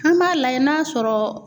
An b'a lajɛ n'a sɔrɔ